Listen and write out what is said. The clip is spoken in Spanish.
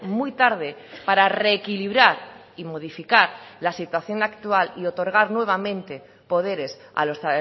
muy tarde para reequilibrar y modificar la situación actual y otorgar nuevamente poderes a los